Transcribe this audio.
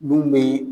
Mun bɛ